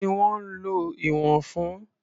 Kí ni wọ́n ń lo ìwọ̀n fún?